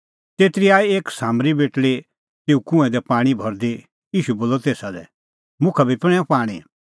तेतरी आई एक सामरी बेटल़ी तेऊ कुंऐं दी पाणीं भरदी ईशू बोलअ तेसा लै मुखा बी पणैंऊ पाणीं